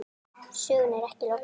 Sögunni er ekki lokið.